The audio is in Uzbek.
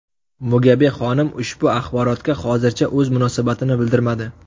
Mugabe xonim ushbu axborotga hozircha o‘z munosabatini bildirmadi.